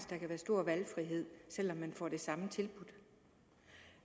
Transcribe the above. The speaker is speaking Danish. der kan være stor valgfrihed selv om man får det samme tilbudt